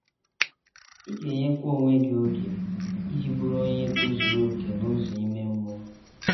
Ị ga - enyekwa onwe gị oge iji bụrụ onye tozuru okè n’ụzọ ime mmụọ.